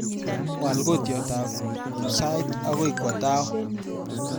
Waal kotyotab sait agoi kowa tao